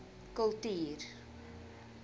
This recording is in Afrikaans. kultuur